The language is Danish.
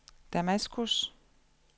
Damaskus